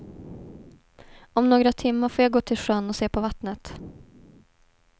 Om några timmar får jag gå till sjön och se på vattnet.